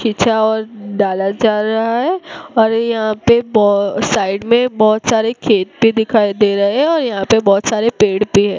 खिंचा और डाला जा रहा हैं और यहां पे साइड में बहोत सारे खेत भी दिखाई दे रहे हैं और यहां पे बहोत सारे पेड़ भी है।